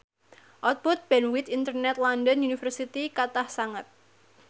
output bandwith internet London University kathah sanget